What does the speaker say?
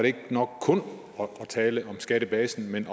ikke nok kun at tale om skattebasen man